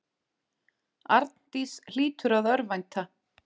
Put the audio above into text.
Arndís hlýtur að örvænta.